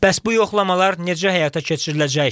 Bəs bu yoxlamalar necə həyata keçiriləcək?